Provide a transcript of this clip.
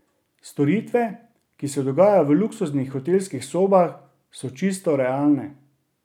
Storitve, ki se dogajajo v luksuznih hotelskih sobah, so čisto realne.